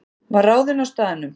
Var ráðinn á staðnum